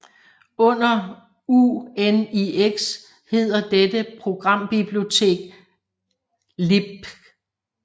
Under UNIX hedder dette programbibliotek libc